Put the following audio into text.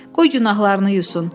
Qoy günahlarını yusun.